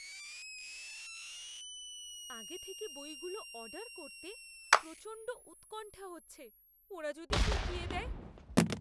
আগে থেকে বইগুলো অর্ডার করতে প্রচণ্ড উৎকণ্ঠা হচ্ছে, ওরা যদি ঠকিয়ে দেয়!